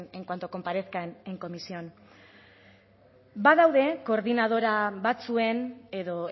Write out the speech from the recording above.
en cuanto comparezca comisión badaude koordinadora batzuen edo